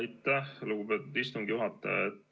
Aitäh, lugupeetud istungi juhataja!